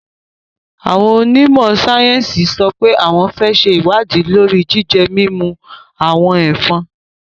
Awón onimo sayensi sope awon n se iwadi lori jije-mimu awon efòn